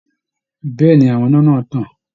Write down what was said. Bẹ́ẹ̀ ni àwọn iná náà tàn